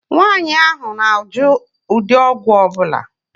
Nwaànyị ahụ na -ajụ ụdị ọgwụ ọbula